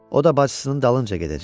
O da bacısının dalınca gedəcək.